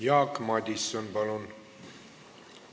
Jaak Madison, palun!